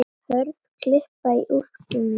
Hörð kippa í úlpuna mína.